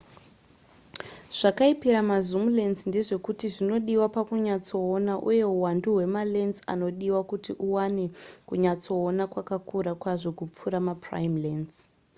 zvakaipira ma zoom lense ndezvekuti zvinodiwa pakunyatsoona uye huwandu hwemalense anodiwa kuti uwane kunyatsoona hwakakura kwazvo kupfuura maprime lense